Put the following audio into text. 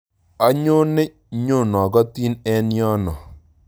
Onyone nyonokotin eng yono